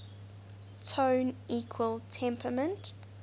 tone equal temperament